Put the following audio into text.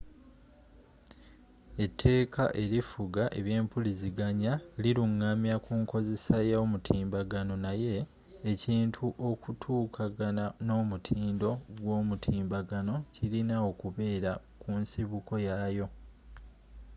eteeka erifuga ebyempuliziganya lilungamya kunkozesa ya yomutimbagano naye ekintu okutuukagana n'omutindo gw'omutimbagano kilina okubeera kunsibuko yaayo